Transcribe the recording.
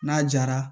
N'a jara